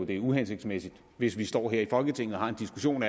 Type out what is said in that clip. det er uhensigtsmæssigt hvis vi står her i folketinget og har en diskussion